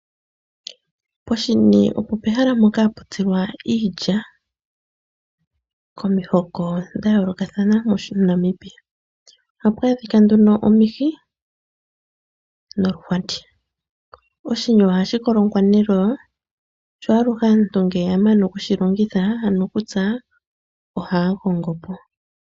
Poshini opo pehala mpoka hapu tsilwa iilya komihoko dha yoolokathana moNamibia. Ohapu adhika nduno omihi noluhwati. Oshini oha shi kolongwa neloya, naantu ngele ya mana okutsa, ohaya kombo po.